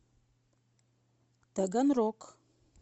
таганрог